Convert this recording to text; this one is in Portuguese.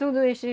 Tudo isso e